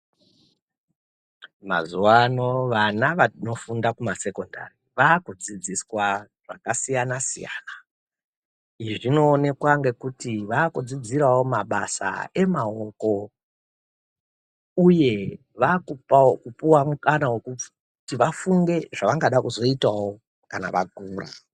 Mazuwaano vana vanofunda kusekondari ,vaakudzidziswa zvakasiyana-siyana. Izvi zvinoonekwa ngekuti vaakudzidzirawo mabasa emaoko, uye vaakupawo kupuwa mukana wekuti vafunge ngezvavanoda kuzoitawo kana vakura .